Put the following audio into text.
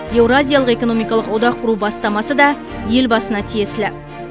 еуразиялық экономикалық одақ құру бастамасы да елбасына тиесілі